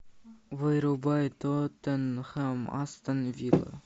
вырубай тоттенхэм астон вилла